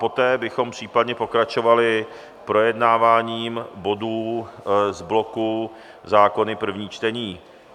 Poté bychom případně pokračovali projednáváním bodů z bloku zákony první čtení.